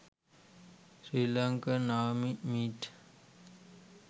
srilankan army meet